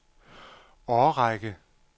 årrække